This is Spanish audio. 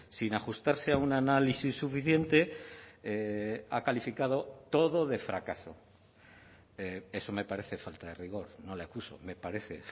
sin ajustarse a un análisis suficiente ha calificado todo de fracaso eso me parece falta de rigor no le acuso me parece